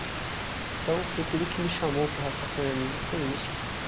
Então, foi tudo que me chamou para o Rastafarianismo, foi isso.